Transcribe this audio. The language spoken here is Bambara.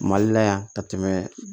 Mali la yan ka tɛmɛ